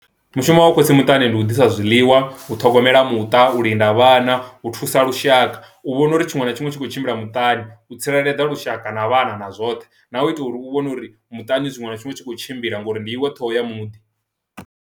Mushumo wa u khotsi muṱani ndi u ḓisa zwiḽiwa, u ṱhogomela muṱa, u linda vhana, u thusa lushaka, u vhona uri tshiṅwe na tshiṅwe tshi khou tshimbila muṱani u tsireledza lushaka na vhana na zwoṱhe na u itela uri u vhone uri muṱani tshiṅwe na tshiṅwe tshi kho tshimbila ngori ndi iwe ṱhoho ya muḓi.